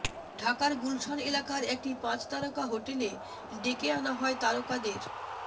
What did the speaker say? ঢাকার গুলশান এলাকার একটি পাঁচ তারকা হোটেল ডেকে আনা হয় তারকাদের